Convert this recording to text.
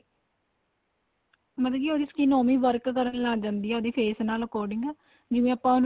ਮਤਲਬ ਉਹਦੀ skin ਉਵੇਂ ਹੀ work ਕਰਨ ਲੱਗ ਜਾਂਦੀ ਏ ਉਹਦੇ face ਨਾਲ according ਜਿਵੇਂ ਆਪਾਂ